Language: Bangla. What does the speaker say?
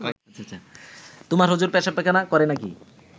তোমার হুজুর পেশাবপায়খানা করে নাকি